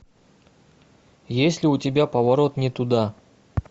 есть ли у тебя поворот не туда